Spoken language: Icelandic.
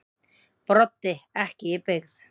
Broddi: Ekki í byggð.